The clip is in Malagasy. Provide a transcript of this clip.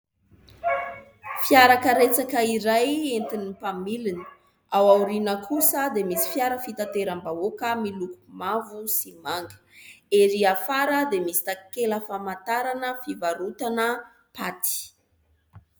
Fiarakaretsaka iray entin'ny mpamiliny. Ao aoriana kosa dia misy fiara fitateram-bahoaka miloko mavo sy manga. Ery afara dia misy takela-pamantarana fivarotana "pâte".